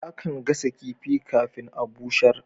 Akan gasa kifin kafin a'busher.